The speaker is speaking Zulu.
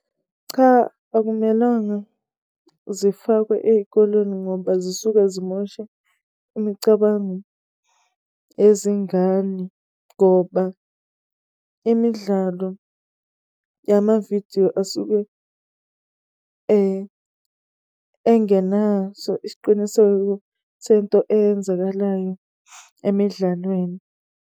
Cha, akumelanga zifakwe eyikoleni ngoba zisuke zimosha imicabango yezingane. Ngoba imidlalo yamavidiyo asuke engenaso isiqiniseko sento eyenzakalayo emidlalweni.